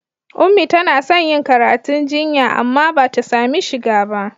Ummi tana son yin karatu jinya amma ba ta sami shiga ba.